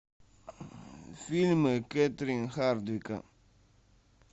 фильмы кэтрин хардвика